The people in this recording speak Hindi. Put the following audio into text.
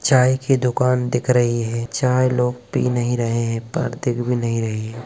चाय की दुकान दिख रही है चाय लोग पी नहीं रहे हैं पर देख भी नहीं रहे हैं।